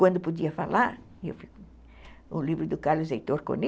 Quando podia falar, o livro do Carlos Heitor Coni,